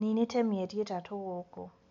Ninĩte mĩeri ĩtatũ gũkũ.